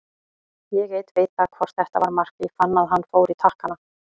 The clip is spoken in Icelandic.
Ég einn veit það hvort þetta var mark, ég fann að hann fór í takkana.